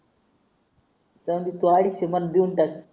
जाऊंदे अडीचशे मध्ये देऊन टाक